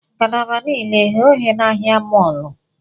Ngalaba niile eghe oghe na ahịa mọọlụ?